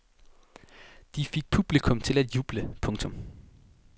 De fik publikum til at juble. punktum